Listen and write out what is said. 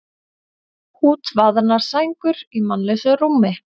Útvaðnar sængur í mannlausu rúmi.